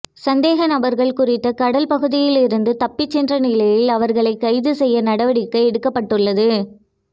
சந்தேக நபர்கள் குறித்த கடல் பகுதியில் இருந்து தப்பி சென்ற நிலையில் அவர்களை கைது செய்ய நடவடிக்கை எடுக்கப்பட்டுள்ளது